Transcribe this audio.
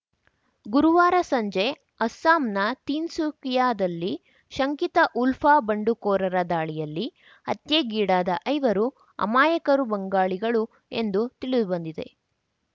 ಗುರುವಾರ ಸಂಜೆ ಅಸ್ಸಾಂನ ತೀನ್‌ಸುಕಿಯಾದಲ್ಲಿ ಶಂಕಿತ ಉಲ್ಫಾ ಬಂಡುಕೋರರ ದಾಳಿಯಲ್ಲಿ ಹತ್ಯೆಗೀಡಾದ ಐವರು ಅಮಾಯಕರು ಬಂಗಾಳಿಗಳು ಎಂದು ತಿಳಿದುಬಂದಿದೆ